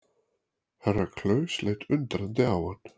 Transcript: Herra Klaus leit undrandi á hann.